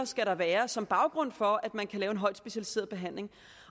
skal være som baggrund for at man kan lave en højt specialiseret behandling